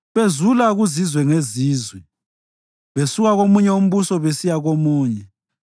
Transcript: bezula kuzizwe ngezizwe besuka komunye umbuso besiya komunye.